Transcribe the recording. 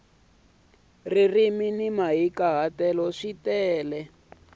ririmi ni mahikahatelo swi tala